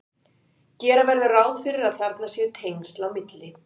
gera verður ráð fyrir að þarna séu tengsl á milli